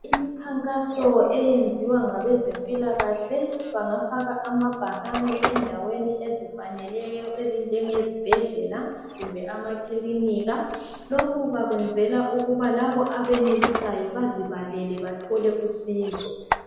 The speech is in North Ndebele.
imikhankaso eyenziwa ngabezempilakahle bangafaka amabhakane endaweni ezifaneleyo ezinjengezibhedlela kumbe amakilinika lokhu bakwenzela ukuba lab abenelisayo bazibalele bathole usizo